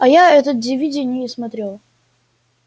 а я этот дивиди и не смотрела